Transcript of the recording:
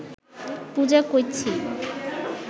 পূঁজা কইচ্ছি